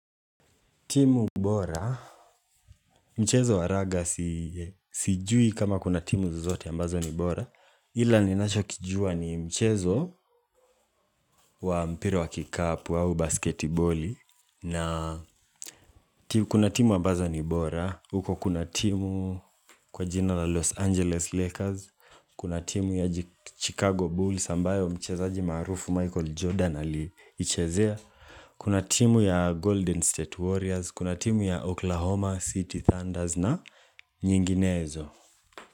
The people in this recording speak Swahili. Timu bora, mchezo wa raga sijui kama kuna timu zozote ambazo ni bora Ila ninacho kijua ni mchezo wa mpira wa kikapu au basketiboli na kuna timu ambazo ni bora, huko kuna timu kwa jina la Los Angeles Lakers Kuna timu ya Chicago Bulls ambayo mchezaji maarufu Michael Jordan aliichezea Kuna timu ya Golden State Warriors, kuna timu ya Oklahoma City Thunders na nyinginezo.